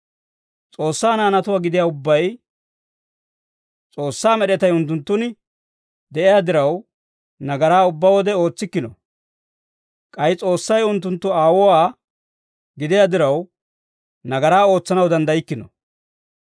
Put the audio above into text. S'oossaa naanatuwaa gidiyaa ubbay S'oossaa med'etay unttunttun de'iyaa diraw, nagaraa ubbaa wode ootsikkino; k'ay S'oossay unttunttu Aawuwaa gidiyaa diraw, nagaraa ootsanaw danddaykkino.